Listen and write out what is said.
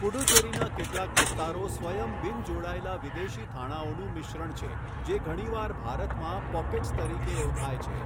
પુડુચેરીના કેટલાક વિસ્તારો સ્વયમ બિન જોડાયેલા વિદેશી થાણાઓનું મિશ્રણ છે જે ઘણીવાર ભારતમાં 'પોકેટ્સ' તરીકે ઓળખાય છે.